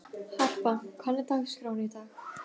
Harpa, hvernig er dagskráin í dag?